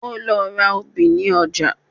Ó lọ ra obì ní ọjà